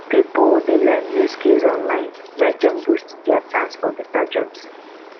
pipo dey learn new skills online make dem boost dia chance for beta jobs